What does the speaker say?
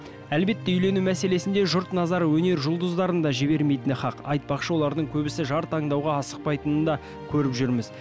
әлбетте үйлену мәселесінде жұрт назары өнер жұлдыздарын да жібермейтіні хақ айтпақшы олардың көбісі жар таңдауға асықпайтынын да көріп жүрміз